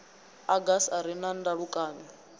agasi a re na ndalukanyo